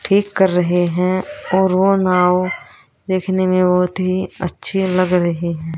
ठीक कर रहे हैं और ओ नाव दिखने में बहुत ही अच्छी लग रही है।